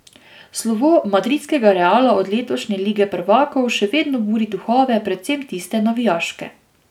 Slovo madridskega Reala od letošnje Lige prvakov še vedno buri duhove, predvsem tiste navijaške.